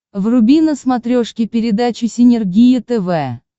вруби на смотрешке передачу синергия тв